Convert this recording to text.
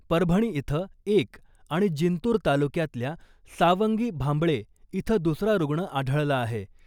परभणी इथं एक आणि जिंतूर तालुक्यातल्या सावंगी भांबळे इथं दुसरा रुग्ण आढळला आहे .